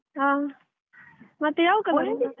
ಹಾ ಮತ್ತೆ ಯಾವ .